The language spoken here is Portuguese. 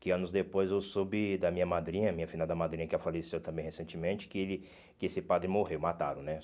Que anos depois eu soube da minha madrinha, minha filha da madrinha, que ah faleceu também recentemente, que ele que esse padre morreu, mataram, né?